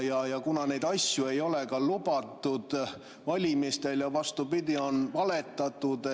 Ja kuna neid asju ei ole valimistel lubatud ja, vastupidi, on valetatud, et neid ei tooda saali …